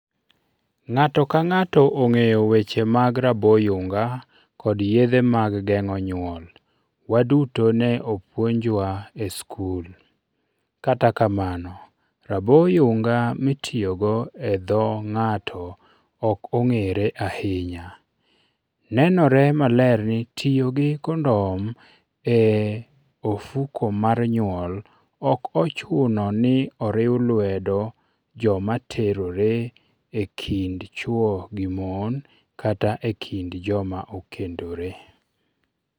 Ng'ato ka ng'ato ong'eyo weche mag raboyunga kod yedhe mag geng'o nyuol, waduto ne opuonjwa e skul. Kata kamano, raboyunga mitiyogo e dho ng'ato ok ong'ere ahinya. Nenore maler ni tiyo gi kondom e ofuko mar nyuol ok ochuno ni oriw lwedo joma terore e kind chwo gi mon kata e kind joma okendore.